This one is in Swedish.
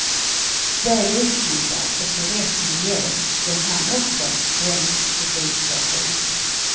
Väl utbildad och i rätt miljö blir han också svensk publikfavorit.